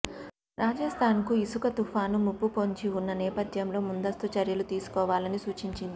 రాజస్థాన్ కు ఇసుక తుపాను ముప్పు పొంచి ఉన్న నేపథ్యంలో ముందస్తు చర్యలు తీసుకోవాలని సూచించింది